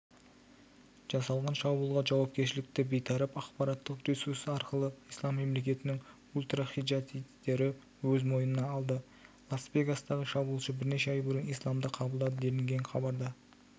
жасалған шабуылға жауапкершіліктібейтарап ақпараттық ресурс арқылы ислам мемлекетінің ультражихадистері өз мойнына алды лас-вегастағы шабуылшы бірнеше ай бұрын исламды қабылдады делінген хабарда